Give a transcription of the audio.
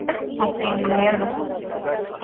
ಮತ್ತೇನಿಲ್ಲ ಹೇಳ್ಬುಕು.